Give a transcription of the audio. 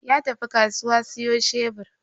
Ya tafi kasuwa siyo shebur.